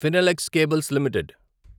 Finolex cables limited